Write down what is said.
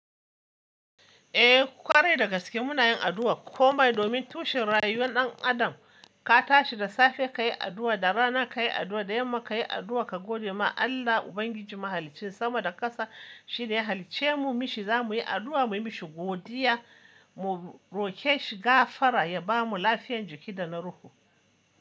Eh, kwarai dagaske muna yin addu'a. Komai domin tushen rayuwar ɗan adam ka tashi da safe ka yi addu'a, da rana ka yi addu'a, da yamma ka yi addu'a ka gode ma Allah Ubangiji Mahaliccin sama da ƙasa. Shi ne ya halicce mu, mishi zamuyi addu'a muyi mishi godiya, mu roƙe shi gafara ya bamu lafiyar jiki da na ruhu.